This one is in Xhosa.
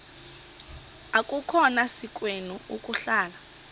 akukhona sikweni ukuhlala